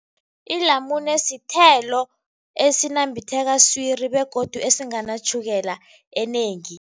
Ilamune sithelo esinambitheka swiri begodu esinganatjhukela enengi.